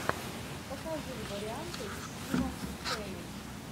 покажи варианты со стивом бушеми